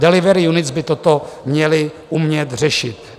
Delivery units by toto měly umět řešit.